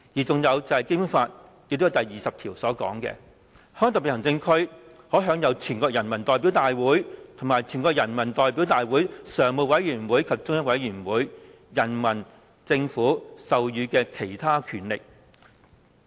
再者，《基本法》第二十條訂明，"香港特別行政區可享有全國人民代表大會和全國人民代表大會常務委員會及中央人民政府授予的其他權力"。